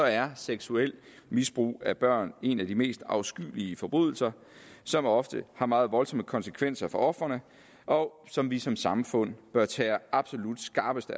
er seksuelt misbrug af børn en af de mest afskyelige forbrydelser som ofte har meget voldsomme konsekvenser for ofrene og som vi som samfund bør tage absolut skarpeste